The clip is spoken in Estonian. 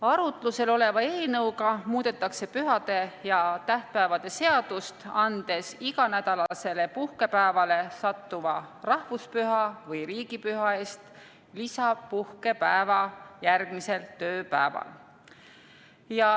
Arutlusel oleva eelnõuga muudetakse pühade ja tähtpäevade seadust, andes iganädalasele puhkepäevale sattuva rahvuspüha või riigipüha eest lisapuhkepäeva järgmisel tööpäeval.